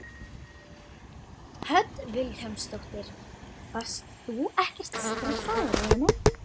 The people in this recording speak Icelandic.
Hödd Vilhjálmsdóttir: Varst þú ekkert stressaður eða neitt?